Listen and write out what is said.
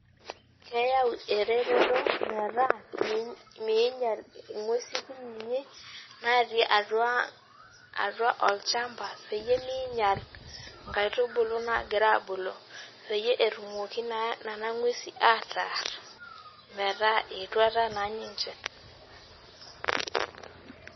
Keyau eretoto metaa minyal nguesi kutitik natii atua olchamba peyie minyal nkaitubulu nagira abulu peyievetumoki naa nona ngwesi ataaar metaa etuata na ninche.